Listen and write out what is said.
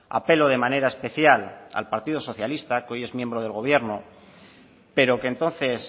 apelo de manera especial al partido socialista que hoy es miembro del gobierno pero que entonces